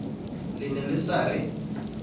le ne le sa re